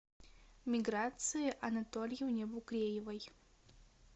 миграции анатольевне букреевой